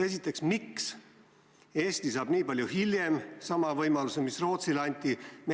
Esiteks, miks Eesti saab nii palju hiljem sama võimaluse, mis Rootsile anti?